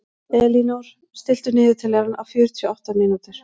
Elínór, stilltu niðurteljara á fjörutíu og átta mínútur.